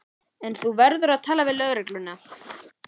En þú verður að tala við lögregluna.